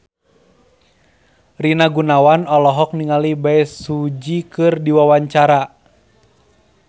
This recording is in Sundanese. Rina Gunawan olohok ningali Bae Su Ji keur diwawancara